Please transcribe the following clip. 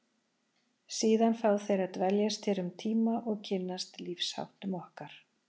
Síðan fá þeir að dveljast hér um tíma og kynnast lífsháttum okkar.